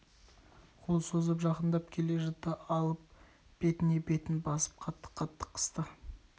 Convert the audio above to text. қол созып жақындап келе жатты алып бетіне бетін басып қатты-қатты қысты